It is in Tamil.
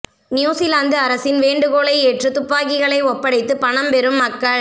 நியூசிலாந்து அரசின் வேண்டுகோளை ஏற்று துப்பாக்கிகளை ஒப்படைத்து பணம் பெறும் மக்கள்